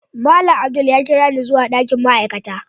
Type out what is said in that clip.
Malam Abdul ya kirani zuwa dakin ma'aikata.